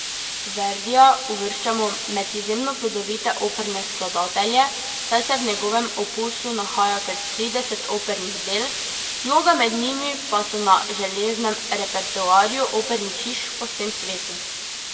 Verdija uvrščamo med izjemno plodovite operne skladatelje, saj se v njegovem opusu nahaja kar trideset opernih del, mnoga med njimi pa so na železnem repertoarju opernih hiš po vsem svetu.